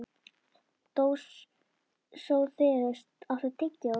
Dósóþeus, áttu tyggjó?